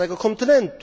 starego kontynentu.